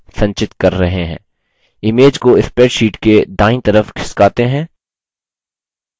image को spreadsheet के दायीं तरफ खिसकाते हैं